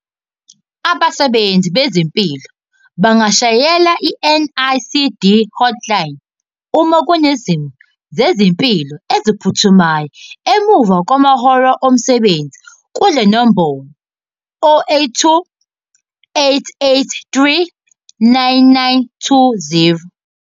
Abasebenzi bezempilo bangashayela i-NICD Hotline uma Kunezimo Zezempilo Eziphuthumayo emva kwamahora omsebenzi kule nombolo- 082 883 9920.